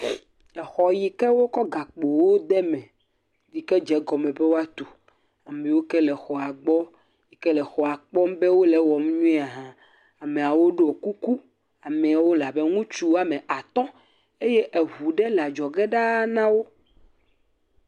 Exɔ yi ke wokɔ gakpowo de eme yi ke dze egɔme be woatu. Ame yiwo ke le exɔa gbɔ yike le exɔ kpɔm be wole ewɔm nyuie hã. Ameawo ɖo kuku. Ameawo le abe ŋutsu wɔme atɔ̃ eye eŋu ɖe le adzɔge ɖaa na wo.